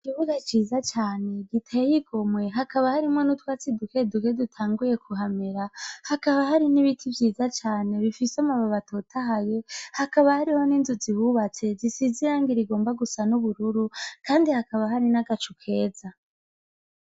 Ikibuga ciza cane giteye igomwe hakaba harimwo n'uwatsi dukeduke dutanguye kuhamera hakaba hari n'ibiti vyiza cane bifise amababi atotahaye , hakaba hariho n'inzu zihubatse zisize irangi rigomba gusa n'ubururu kandi haba hari nagacu keza .